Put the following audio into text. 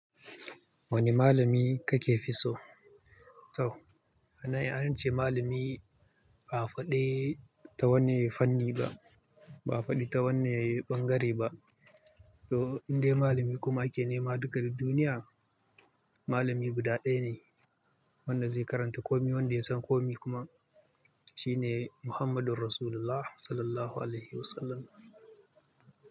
Wani malami kake fi so? Toh, a nan an ce malami ba a faɗi ta wanne fanni ba, ba a faɗi ta wanne ɓangare ba. To inda malami kuma ake nema duka duk duniya, malami guda ɗaya ne wanda zai karanta kome wanda ya san kome kuma shine Muhammadun Rasulullah Sallallahu Alaihi Wasallam.